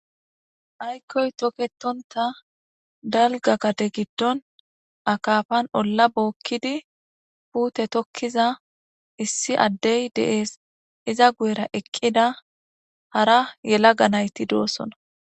Ayikoy toketonta dalga gade gidon akapan gade ola bokid putte tokiza issi adey de'es, iza guyera eqida hara yelaga nayt dosona.